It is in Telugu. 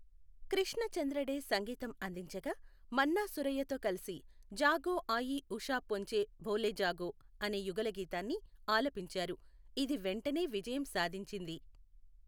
కృష్ణ చంద్ర డే సంగీతం అందించగా, మన్నా సురయ్యతో కలిసి జాగో ఆయీ ఉషా పొంచి బోలే జాగో అనే యుగళగీతాన్ని ఆలపించారు, ఇది వెంటనే విజయం సాధించింది.